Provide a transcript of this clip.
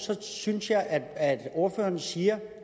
synes jeg at det ordføreren siger